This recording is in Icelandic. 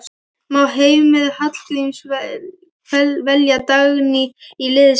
Má Heimir Hallgríms velja Dagný í liðið sitt líka?